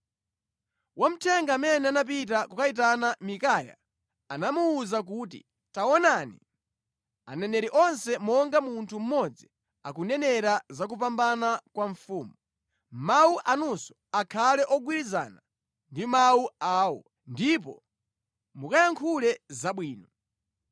Wamthenga amene anapita kukayitana Mikaya anamuwuza kuti, “Taonani, aneneri onse monga munthu mmodzi akunenera za kupambana kwa mfumu. Mawu anunso akhale ogwirizana ndi mawu awo, ndipo mukayankhule zabwino.”